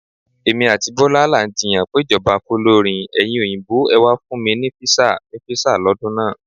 Èmi àti Bọ́lá là ń jiyàn péjọba fólórin "Ẹ̀yin Òyìnbó ẹ̀ wà fún mi ní visa..." ni visa lọ́dún náà.